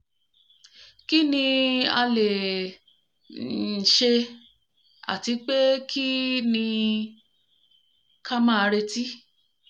kí ni a le um ṣe àti pé kí um ní ka máa retí?